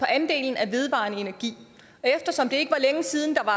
andelen af vedvarende energi og eftersom det ikke var længe siden at